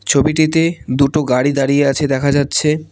ছবিটিতে দুটো গাড়ি দাঁড়িয়ে আছে দেখা যাচ্ছে।